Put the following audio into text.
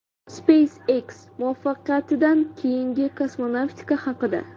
SpaceX muvaffaqiyatidan keyingi kosmonavtika haqida.